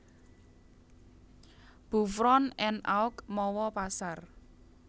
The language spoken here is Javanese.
Beuvron en Auge mawa pasar